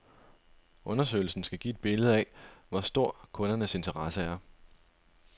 Undersøgelsen skal give et billede af, hvor stor kundernes interesse er.